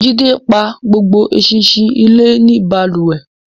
Jídé pa gbogbo ẹṣinṣin ilé ní balùwẹ̀